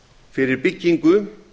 fyrir byggingu